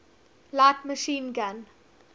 light machine gun